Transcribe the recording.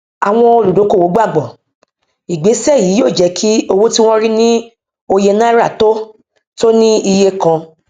àwọn olúdókòwò gbàgbọ ìgbésẹ yí yóò jẹ kí owó tí wọn rí ní òye náírà tó tó ní iye kan